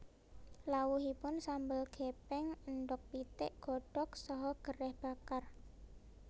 Lawuhipun sambel gepeng endhog pitik godhog saha gereh bakar